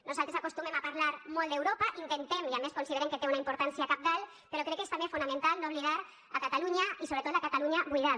nosaltres acostumem a parlar molt d’europa intentem i a més considerem que té una importància cabdal però crec que és també fonamental no oblidar a catalunya i sobretot la catalunya buidada